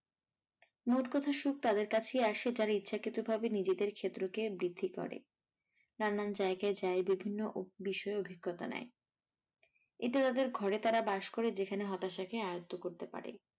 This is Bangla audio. মোটকথা সুখ তাদের কাছেই আসে যারা ইচ্ছাকৃত ভাবে নিজেদের ক্ষেত্র কে বৃদ্ধি করে, নানান জায়াগায় যাই ভিভিন্ন বিষয় অভিজ্ঞতা নেয়. এটা তাদের ঘরে তারা বাস করে যারা হতাশা কে আয়ত্ত করতে পারে।